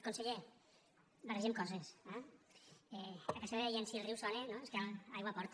conseller barregem coses eh a casa meva deien si el riu sona és que aigua porta